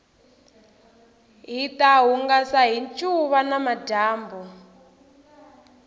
hita hungasa hi ncuva namadyambu